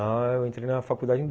Eu entrei na faculdade em